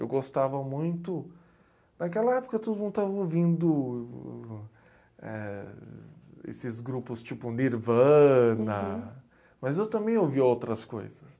Eu gostava muito... Naquela época, todo mundo estava ouvindo, eh, esses grupos tipo Nirvana, mas eu também ouvia outras coisas.